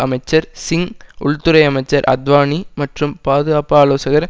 அமைச்சர் சிங் உள்துறை அமைச்சர் அத்வானி மற்றும் பாதுகாப்பு ஆலோசகர்